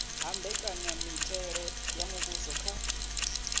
ha mbekanyamitele ya muvhuso kha